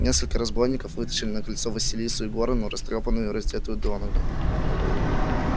несколько разбойников вытащили на крыльцо василису егоровну растрёпанную и раздетую донага